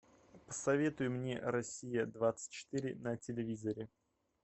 посоветуй мне россия двадцать четыре на телевизоре